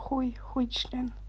хуй хуй член